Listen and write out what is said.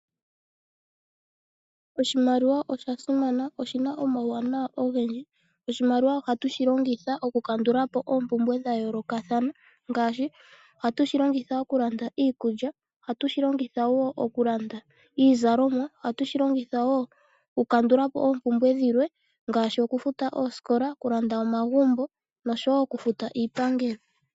Oshimaliwa osha simana, oshina omauwanawa ogendji, oshimaliwa oha tu shi longitha oompumbwe dha yooloka thana ngaashi: ohatu shilongitha okulanda iikulya, ohatu shilongitha woo okulanda iizalomwa ohatu, shilongitha woo okukandulapo oompumbwe dhilwe ngaashi okufuta oosikola, okulanda omagumbo noshowo okufuta iiangelo.